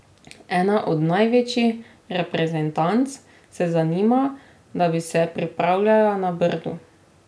Ena od največjih reprezentanc se zanima, da bi se pripravljala na Brdu.